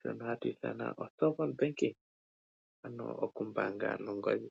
shono hatu ithana o Cellphone banking ano okumbaanga nongodhi.